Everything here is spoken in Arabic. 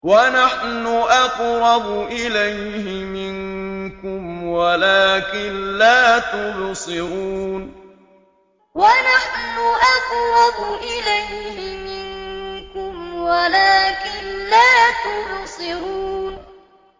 وَنَحْنُ أَقْرَبُ إِلَيْهِ مِنكُمْ وَلَٰكِن لَّا تُبْصِرُونَ وَنَحْنُ أَقْرَبُ إِلَيْهِ مِنكُمْ وَلَٰكِن لَّا تُبْصِرُونَ